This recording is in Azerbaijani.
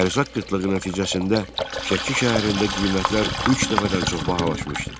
Ərzaq qıtlığı nəticəsində Şəki şəhərində qiymətlər üç dəfədən çox bahalaşmışdı.